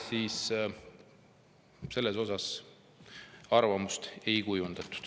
… siis selle kohta arvamust ei kujundata.